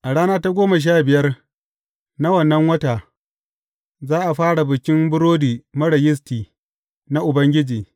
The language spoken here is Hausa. A rana ta goma sha biyar na wannan wata, za a fara Bikin Burodi Marar Yisti na Ubangiji.